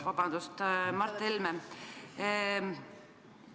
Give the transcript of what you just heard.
Vabandust, Mart Helme!